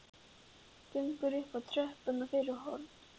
Gengur upp tröppur og fyrir horn.